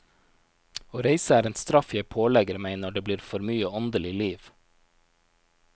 Å reise er en straff jeg pålegger meg når det blir for mye åndelig liv.